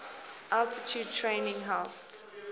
altitude training helped